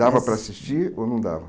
Dava para assistir ou não dava?